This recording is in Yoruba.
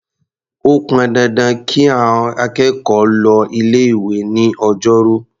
Ó pọn dandan kí àọn akẹ́kọ̀ọ́ lọ ilé-ìwé ní Ọjọ́rú.